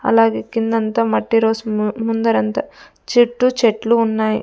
అలాగే కిందంతా మట్టి రోస్ ముందరంతా చెట్టు చెట్లు ఉన్నాయ్.